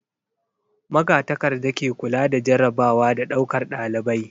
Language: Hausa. Magatakarda ke kula da jarrabawa da ɗaukar ɗalibai.